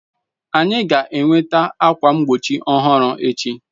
Anyị ga-enweta ákwà mgbochi ọhụrụ echi.